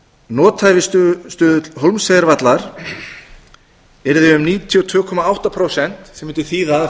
bent á það að nothæfisstuðull hólmsheiðarvallar yrði um níutíu og tvö komma átta prósent sem mundi þýða að